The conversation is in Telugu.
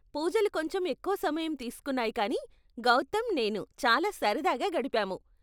పూజలు కొంచెం ఎక్కువ సమయం తీస్కున్నాయి కానీ, గౌతమ్, నేను చాలా సరదాగా గడిపాము.